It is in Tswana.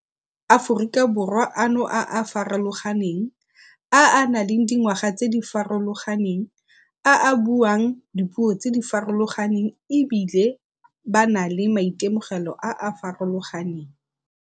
Aforika Borwa ano a a farologaneng, a a nang le dingwaga tse di farologaneng, a a buang dipuo tse di farologaneng e bile ba na le maitemogelo a a farologaneng.